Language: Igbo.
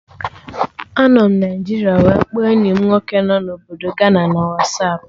Anọ m Naijiria wee kpọọ enyi mụ nwoke nọ na Obodo Gana na Wasapụ